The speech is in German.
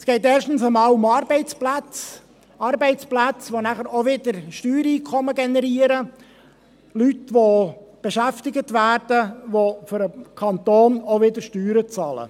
Es geht erstens um Arbeitsplätze – Arbeitsplätze, welche auch Steuereinkommen generieren, wo Leute beschäftigt werden, welche für den Kanton auch wieder Steuern bezahlen.